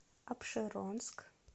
апшеронск